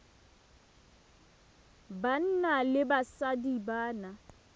banna le basadi ba na